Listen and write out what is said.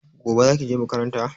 Gobe zaki je makaranta?